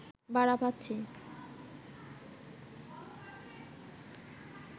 ভাড়া পাচ্ছি